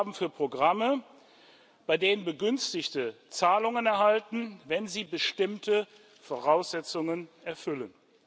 Ausgaben für Programme, bei denen Begünstigte Zahlungen erhalten, wenn sie bestimmte Voraussetzungen erfüllen.